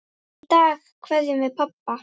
Í dag kveðjum við pabba.